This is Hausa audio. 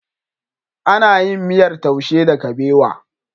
Ana yin miyar taushe da kabewa.